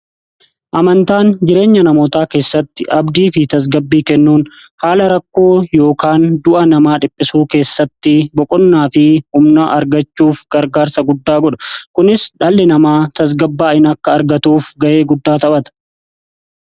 Amantaan jireenya namoota keessatti abdii fi tasgabbii kennuun haala rakkoo yookaan du'a namaa hir'isuu keessatti boqonnaa fi humna argachuuf gargaarsa guddaa godha. kunis dhalli namaa tasgabbaa'ina akka argatuuf ga'ee guddaa ta'a.